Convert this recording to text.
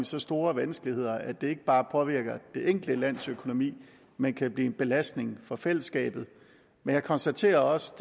så store vanskeligheder at det ikke bare påvirker det enkelte lands økonomi men kan blive en belastning for fællesskabet men jeg konstaterer også